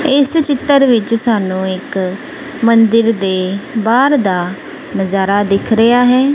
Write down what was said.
ਇਸ ਚਿੱਤਰ ਵਿੱਚ ਸਾਨੂੰ ਇੱਕ ਮੰਦਿਰ ਦੇ ਬਾਹਰ ਦਾ ਨਜ਼ਾਰਾ ਦਿਖ ਰਿਹਾ ਹੈ।